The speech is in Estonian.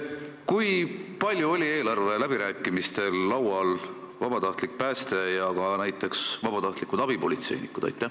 Kui palju räägiti eelarve läbirääkimistel vabatahtlikust päästest ja ka näiteks vabatahtlikest abipolitseinikest?